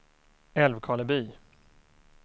Älvkarleby